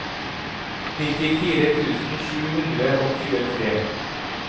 nittifire tusen sju hundre og tjuetre